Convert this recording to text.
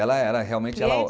Ela era realmente...